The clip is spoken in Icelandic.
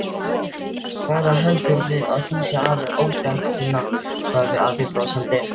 Hvaðan heldurðu að Fúsi hafi óþekktina? svaraði afi brosandi.